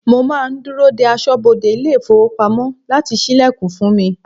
Mo máa ń dúró dé aṣọ́bodè ilé ifowopamo láti ṣílẹ̀kùn fún mi.